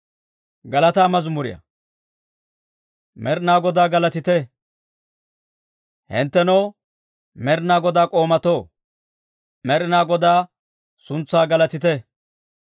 Med'inaa Godaa galatite! Hinttenoo Med'inaa Godaa k'oomatoo, Med'inaa Godaa suntsaa galatite!